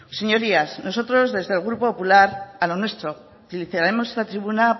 señorías nosotros desde el grupo popular a lo nuestro y reiteraremos en esta tribuna